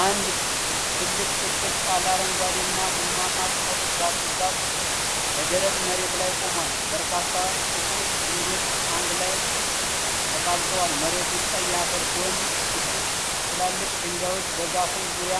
አንድ ትልቅ ጥቅጥቅ ያለ አረንጓዴና ቡናማ ቅጠሎች ያሉት ዛፍ በደረቅ መሬት ላይ ቆሟል። በርካታ ጥቁር ግንዶች አንድ ላይ ተጣብቀዋል። መሬቱ ቀይ አፈር ሲሆን ጥቂት ትላልቅ ድንጋዮች በዛፉ ዙሪያ